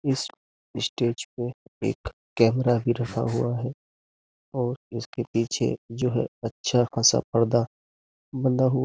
इस स्टेज पे एक कैमरा भी रखा हुआ है और इसके पीछे जो है अच्छा खासा पर्दा बंधा हुआ --